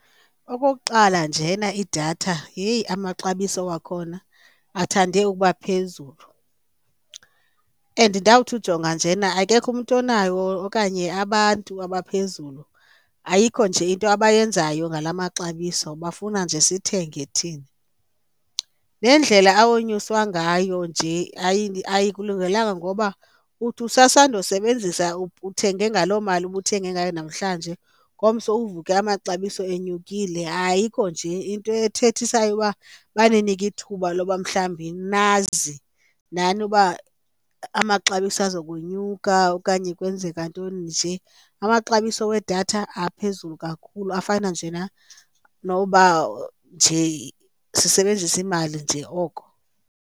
Okokuqala, njena idatha yeyi amaxabiso wakhona athande ukuba phezulu and ndawuthi ujonga njena akekho umntu onayo okanye abantu abaphezulu ayikho nje into abayenzayo ngala maxabiso bafuna nje sithenge thina. Nendlela awonyuswa ngayo nje ayikulungelanga ngoba uthi usasandosebenzisa uthenge ngaloo mali ubuthenge ngayo namhlanje, ngomso uvuke amaxabiso enyukile ayikho nje into ethethisayo uba baninike ithuba loba mhlawumbi nazi nani uba amaxabiso azokunyuka okanye kwenzeka ntoni nje. Amaxabiso wedatha aphezulu kakhulu afana njena noba nje sisebenzise imali nje oko.